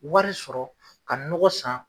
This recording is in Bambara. Wari sɔrɔ ka nɔgɔ san.